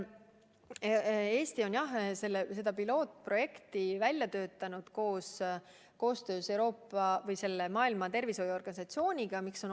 Eesti on seda pilootprojekti välja töötanud koostöös Maailma Terviseorganisatsiooniga.